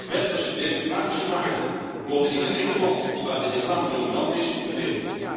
Westerse democratische waarden worden in geen enkel land waar de islam dominant is gedeeld.